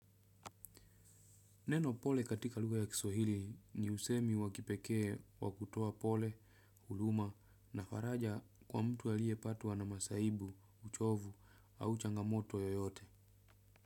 Neno pole katika lugha ya kiswahili ni usemi wakipekee wakutoa pole, huruma na faraja kwa mtu aliye patwa na masaibu, uchovu au changamoto yoyote.